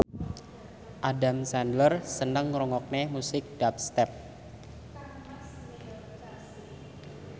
Adam Sandler seneng ngrungokne musik dubstep